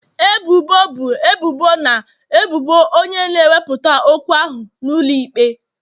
Ebubo bụ ebubo na ebubo onye na-ewepụta okwu ahụ n'ụlọ ikpe.